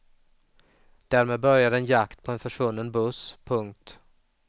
Därmed började en jakt på en försvunnen buss. punkt